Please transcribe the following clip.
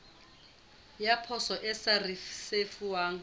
ya poso e sa risefuwang